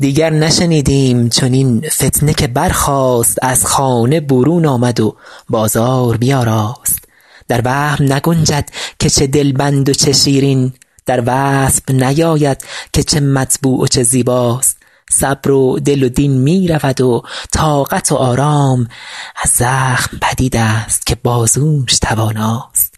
دیگر نشنیدیم چنین فتنه که برخاست از خانه برون آمد و بازار بیاراست در وهم نگنجد که چه دلبند و چه شیرین در وصف نیاید که چه مطبوع و چه زیباست صبر و دل و دین می رود و طاقت و آرام از زخم پدید است که بازوش تواناست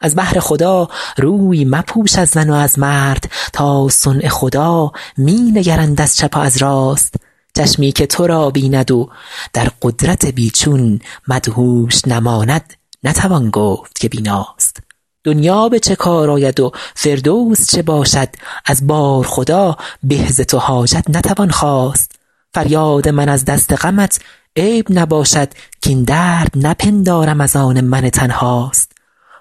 از بهر خدا روی مپوش از زن و از مرد تا صنع خدا می نگرند از چپ و از راست چشمی که تو را بیند و در قدرت بی چون مدهوش نماند نتوان گفت که بیناست دنیا به چه کار آید و فردوس چه باشد از بارخدا به ز تو حاجت نتوان خواست فریاد من از دست غمت عیب نباشد کاین درد نپندارم از آن من تنهاست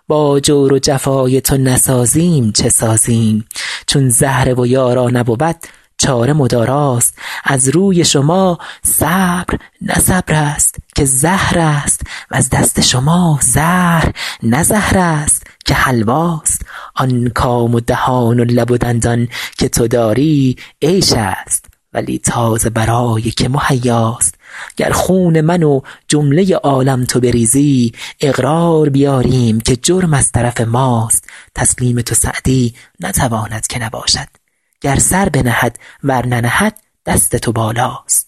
با جور و جفای تو نسازیم چه سازیم چون زهره و یارا نبود چاره مداراست از روی شما صبر نه صبر است که زهر است وز دست شما زهر نه زهر است که حلواست آن کام و دهان و لب و دندان که تو داری عیش است ولی تا ز برای که مهیاست گر خون من و جمله عالم تو بریزی اقرار بیاریم که جرم از طرف ماست تسلیم تو سعدی نتواند که نباشد گر سر بنهد ور ننهد دست تو بالاست